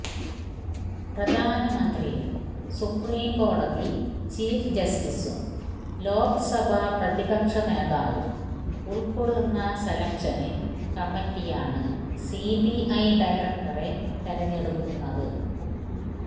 പ്രധാനമന്ത്രിയും സുപ്രീം കോടതി ചീഫ് ജസ്റ്റിസും ലോക്സഭ പ്രതിപക്ഷ നേതാവും ഉള്ക്കൊള്ളുന്ന സെലക്ഷന് കമ്മിറ്റിയാണ് സിബിഐ ഡയറക്ടറെ തിരഞ്ഞെടുക്കുന്നത്